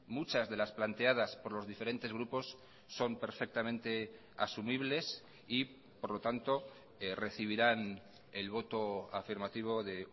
muchas de las planteadas por los diferentes grupos son perfectamente asumibles y por lo tanto recibirán el voto afirmativo de